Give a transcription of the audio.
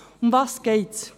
Worum geht es?